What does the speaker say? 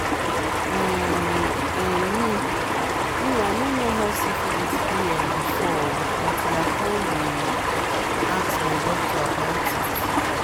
um um me me i no know how syphilis be um before o until i come dey ask my doctor about it